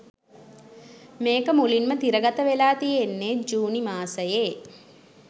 මේක මුලින්ම තිරගත වෙලා තියෙන්නේ ජූනි මාසයේ